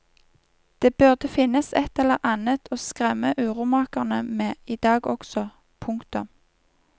Det burde finnes et eller annet å skremme uromakerne med i dag også. punktum